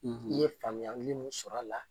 i ye faamuyali mun sɔr'a la